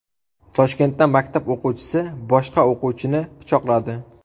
Toshkentda maktab o‘quvchisi boshqa o‘quvchini pichoqladi.